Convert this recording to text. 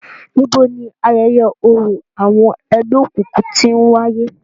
Nibo ni ayẹyẹ orȯ awọn ẹgbẹokunkun ti ń waye?